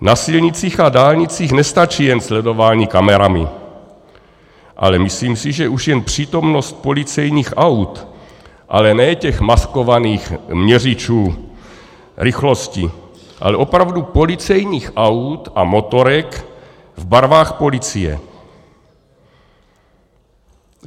Na silnicích a dálnicích nestačí jen sledování kamerami, ale myslím si, že už jen přítomnost policejních aut, ale ne těch maskovaných měřičů rychlosti, ale opravdu policejních aut a motorek v barvách policie.